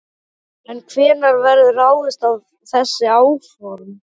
En hvenær verður ráðist í þessi áform?